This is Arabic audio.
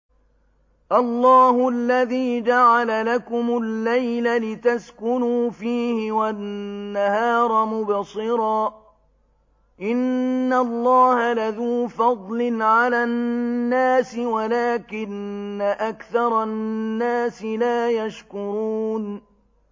اللَّهُ الَّذِي جَعَلَ لَكُمُ اللَّيْلَ لِتَسْكُنُوا فِيهِ وَالنَّهَارَ مُبْصِرًا ۚ إِنَّ اللَّهَ لَذُو فَضْلٍ عَلَى النَّاسِ وَلَٰكِنَّ أَكْثَرَ النَّاسِ لَا يَشْكُرُونَ